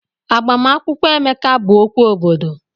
Agbamakwụkwọ Emeka bụ okwu obodo.